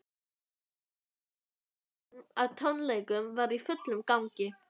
Allur undirbúningur að tónleikunum var í fullum gangi.